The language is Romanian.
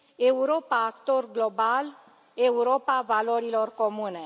Europa actor global, Europa valorilor comune.